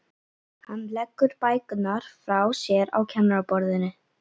Hann leggur bækurnar frá sér á kennaraborðið.